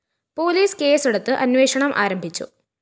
police കേസെടുത്ത് അന്വേഷണം ആരംഭിച്ചു